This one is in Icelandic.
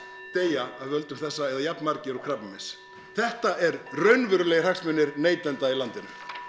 deyja af völdum þessa eða jafn margir og krabbameins þetta eru raunverulegir hagsmunir neytenda í landinu